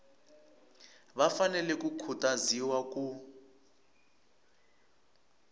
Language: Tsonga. va fanele ku khutaziwa ku